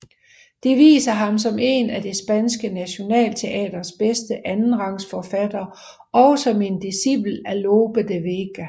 De viser ham som en af det spanske nationalteaters bedste andenrangsforfattere og som en discipel af Lope de Vega